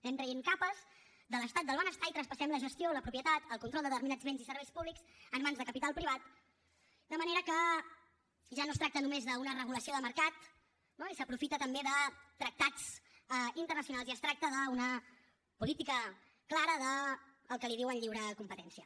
anem traient capes de l’estat del benestar i traspassem la gestió la propietat el control de determinats béns i serveis públics en mans de capital privat de manera que ja no es tracta només d’una regulació de mercat no i s’aprofita també de tractats internacionals i es tracta d’una política clara d’allò que en diuen lliure competència